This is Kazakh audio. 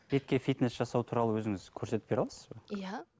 бетке фитнес жасау туралы өзіңіз көрсетіп бере аласыз ба иә